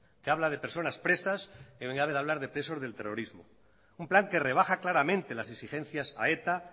que habla de personas presas en vez de hablar de presos del terrorismo un plan que rebaja claramente las exigencias a eta